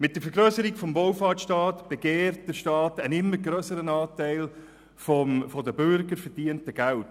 Mit der Vergrösserung des Wohlfahrtstaates gibt der Staat einen immer grösseren Anteil des von den Bürgern verdienten Geldes.